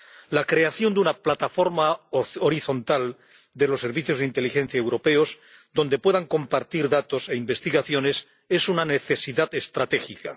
La creación de una plataforma horizontal de los servicios de inteligencia europeos donde puedan compartir datos e investigaciones es una necesidad estratégica.